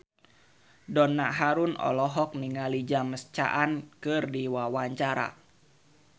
Donna Harun olohok ningali James Caan keur diwawancara